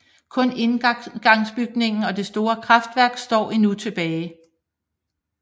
Kun indgangsbygningen og det store kraftværk står endnu tilbage